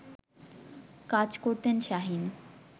কাজ করতেন শাহীন